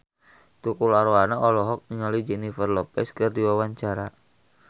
Tukul Arwana olohok ningali Jennifer Lopez keur diwawancara